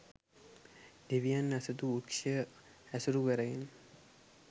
දෙවියන් ඇසතු වෘක්ෂය ඇසුරු කරගෙන